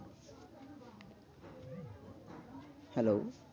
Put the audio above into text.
Hello